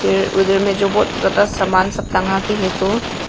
ये उधर में जो बहोत ज्यादा सामान सब टंगा के है तो--